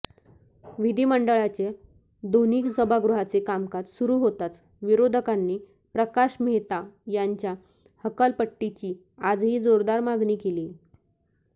विधिमंडळाच्या दोन्ही सभागृहाचे कामकाज सुरू होताच विरोधकांनी प्रकाश मेहता यांच्या हकालपट्टीची आजही जोरदार मागणी केली